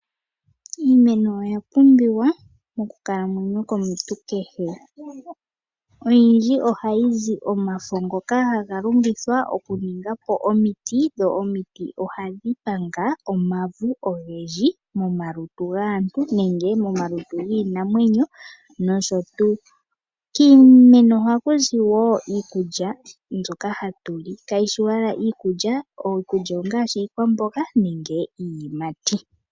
Iimeno oya pumbiwa mokukalamwenyo komuntu kehe, oyindji ohayi zi omafo ngoka haga longithwa okuninga omiti dhokupanga omavu ogendji momaluntu gaantu nomomalutu giinamwenyo nosho tuu . Kiimeno ohaku zi wo iikulya mbyoka hatu li ngaashi iiyimati nenge iikwamboga mbyoka ha tu li .